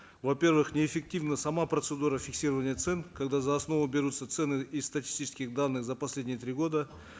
во первых неэффективна сама процедура фиксирования цен когда за основу берутся цены из статистических данных за последние три года